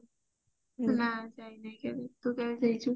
ନା ଯାଇନି କେବେ ତୁ କେବେ ଯାଇଛୁ